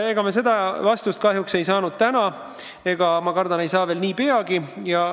Ega me selle kohta täna vastust kahjuks ei saanud ja ma kardan, et ei saa nii peagi.